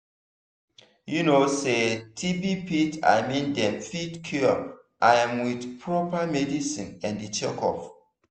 you know say tb fit i mean dem fit cure am with proper medicine and checkup.